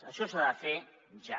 això s’ha de fer ja